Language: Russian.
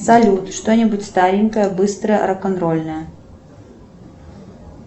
салют что нибудь старенькое быстрое рокэнрольное